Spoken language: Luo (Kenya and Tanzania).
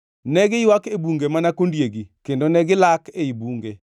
Ne giywak e bunge mana kondiegi kendo ne gilak ei bunge.